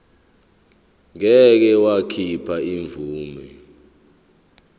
ngeke wakhipha imvume